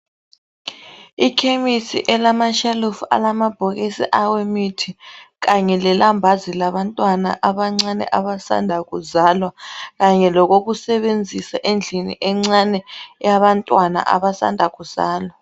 Ikhemisi elamashelufu alamabhokisi awemithi, kanye lelambazi labantwana abancane abasanda kuzalwa, kanye lokokusebenzisa endlini encane eyabantwana abasanda kuzalwa.